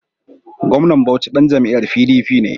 Gwamnan Bauchi ɗan jam'iyyar PDP ne.